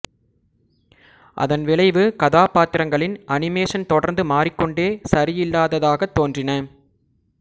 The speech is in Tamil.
அதன் விளைவு கதாப்பாத்திரங்களின் அனிமேஷன் தொடர்ந்து மாறிக்கொண்டே சரியில்லாததாகத் தோன்றின